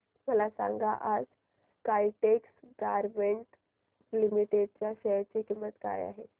मला सांगा आज काइटेक्स गारमेंट्स लिमिटेड च्या शेअर ची किंमत काय आहे